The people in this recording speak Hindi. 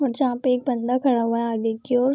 और जहाँ पे एक बंदा खड़ा हुआ है आगे की ओर।